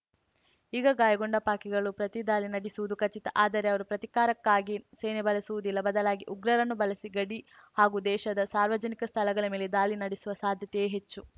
ಈಗ ಗಾಯಗೊಂಡ ಪಾಕಿಗಳು ಪ್ರತಿ ದಾಳಿ ನಡೆಸುವುದು ಖಚಿತ ಆದರೆ ಅವರು ಪ್ರತೀಕಾರಕ್ಕಾಗಿ ಸೇನೆ ಬಳಸುವುದಿಲ್ಲ ಬದಲಾಗಿ ಉಗ್ರರನ್ನು ಬಳಸಿ ಗಡಿ ಹಾಗೂ ದೇಶದ ಸಾರ್ವಜನಿಕ ಸ್ಥಳಗಳ ಮೇಲೆ ದಾಳಿ ನಡೆಸುವ ಸಾಧ್ಯತೆಯೇ ಹೆಚ್ಚು